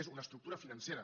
és una estructura financera